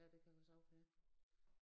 Ja det kan da sagtens være